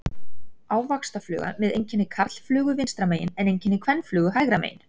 Ávaxtafluga með einkenni karlflugu vinstra megin en einkenni kvenflugu hægra megin.